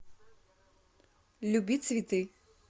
люби цветы